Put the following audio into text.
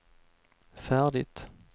färdigt